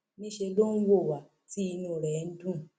níṣẹ ló ń wò wá tí inú ẹ ń dùn